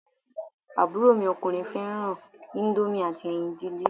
Àbúrò mi ọkùnrin fẹ́ràn íńdómì àti ẹyin dídín.